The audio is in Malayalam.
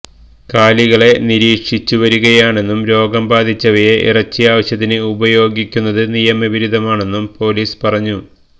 കാലികളെ നിരീക്ഷിച്ചുവരികയാണെന്നും രോഗം ബാധിച്ചവയെ ഇറച്ചി ആവശ്യത്തിന് ഉപയോഗിക്കുന്നത് നിയമവിരുദ്ധമാണെന്നും പോലീസ് പറഞ്ഞു